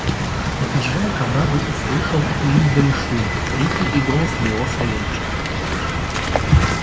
подъезжая к оврагу услышал и издали шум крики и голос моего савельича